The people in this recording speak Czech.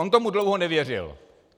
On tomu dlouho nevěřil.